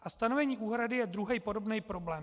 A stanovení úhrady je druhý, podobný problém.